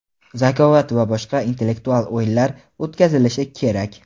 "Zakovat" va boshqa intellektual o‘yinlar o‘tkazilishi kerak".